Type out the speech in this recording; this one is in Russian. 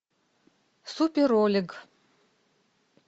супер олег